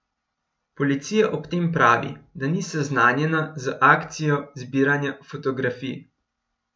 Policija ob tem pravi, da ni seznanjena z akcijo zbiranja fotografij.